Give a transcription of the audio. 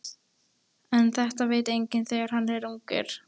En þetta veit enginn þegar hann er ungur.